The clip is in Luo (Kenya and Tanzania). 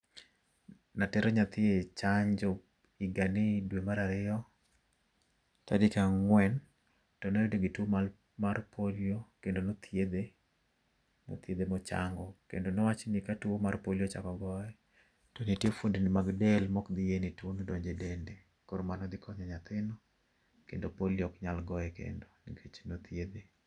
Natero nyathi e chanjo higani dwe mar ariyo, tarik ang'wen kendo ne entie gi tuo mar polio, kendo nothiedhe, nothiedhe mochango. Kendo nowach nmi katuo mar polio ochako ogoye, to nitie fuond ni mag del maok bi yie ne tuono donjo e dende. Koro mano dhi konyo nyathino kendo polio ok nyal goye kendo nikech ose thiedhe.